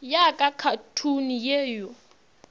ya ka khathuni ye yo